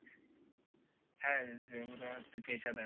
হ্যাঁ যে ওরা হচ্ছে পেশাদার